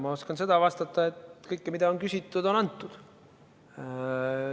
Ma oskan vastata, et kõike, mida on küsitud, on antud.